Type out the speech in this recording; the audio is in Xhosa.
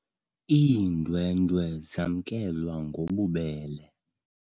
Iindwendwe zamkelwe ngobubele.